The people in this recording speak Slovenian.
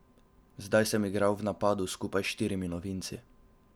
Zdaj sem igral v napadu skupaj s štirimi novinci.